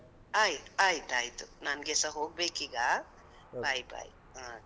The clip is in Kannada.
ಆಯ್ತ್ ಆಯ್ತಯ್ತು, ನಂಗೆ ಸ ಹೋಗ್ಬೇಕೀಗಾ bye bye okay